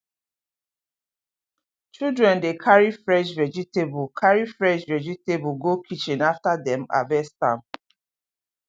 children dey carry fresh vegetable carry fresh vegetable go kitchen after dem harvest am